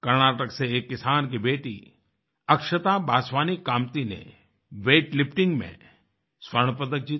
कर्नाटक से एक किसान की बेटी अक्षता बासवानी कमती ने वेटलिफ्टिंग में स्वर्ण पदक जीता